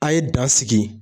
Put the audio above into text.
A ye dan sigi